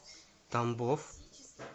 тамбов